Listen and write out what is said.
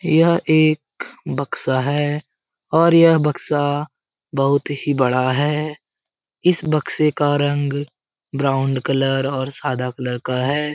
यह एक बक्सा है और यह बक्सा बहुत ही बड़ा है। इस बक्से का रंग ब्राउण्ड कलर और सादा कलर का है।